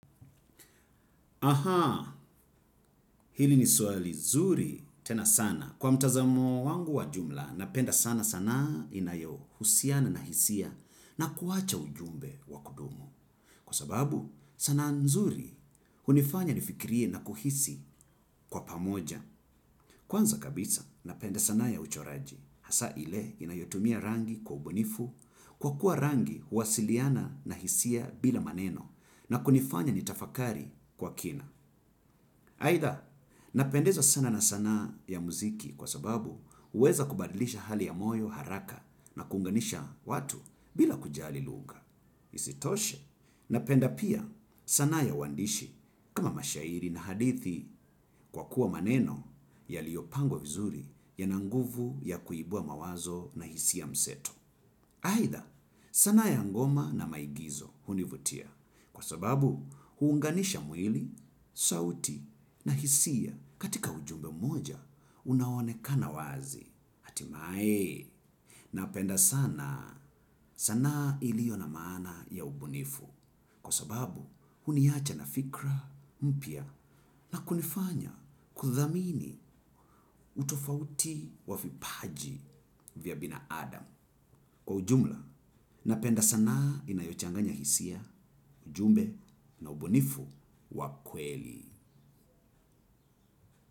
Aha, hili ni swali zuri tena sana. Kwa mtazamo wangu wa jumla, napenda sana sanaa inayohusiana na hisia na kuacha ujumbe. Kwa sababu sanaa nzuri hunifanya nifikirie na kuhisi kwa pamoja. Kwanza kabisa, napenda sanaa ya uchoraji. Hasa ile inayotumia rangi kwa ubunifu kwa kuwa rangi huwasiliana na hisia bila maneno na kunifanya nitafakari kwa kina. Haida, napendezwa sana na sanaa ya muziki kwa sababu huweza kubadilisha hali ya moyo haraka na kuunganisha watu bila kujali lugha. Isitoshe napenda pia sanaa ya uwandishi kama mashairi na hadithi kwa kuwa maneno yaliyopangwa vizuri yana nguvu ya kuibua mawazo na hisia mseto. Aidha sanaa ya ngoma na maigizo hunivutia kwa sababu huunganisha mwili, sauti na hisia katika ujumbe mmoja unaonekana wazi. Hatimae, napenda sana, sanaa ilio na maana ya ubunifu, kwa sababu huniacha na fikra mpya na kunifanya kuthamini utofauti wa vipaji vya binadamu. Kwa ujumla, napenda sana inayochanganya hisia, ujumbe na ubunifu wa kweli.